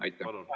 Teie aeg!